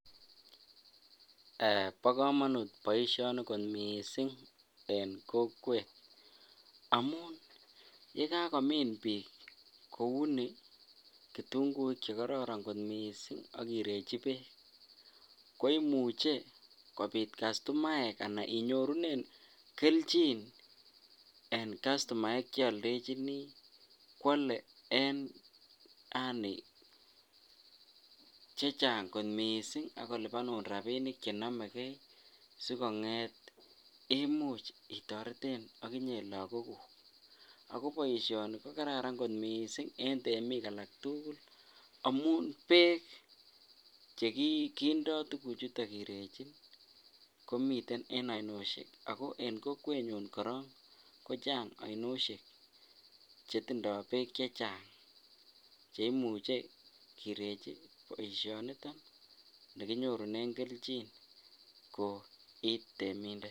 Bokomonut boishoni kot mising en kokwet amun yekakomin biik kouni kitung'uik chekororon kot mising ak kirechi beek ko imuche kobit customaek anan inyorunen kelchin en customaek cheoldechini kwole en yaani chechang kot mising ak kolipanun rapinik chenomeke sikong'et imuch itoreten okinye lokokuk, ak ko boishoni ko kararan kot mising en temik alak tukul amun beek chekindo tukuchuton kirechi komiten en ainoshek ak ko en kokwenyun korong kochang ainoshek chetindo beek chechang cheimuche kirechi boishoniton nekinyorunen kelchin ko itemindet.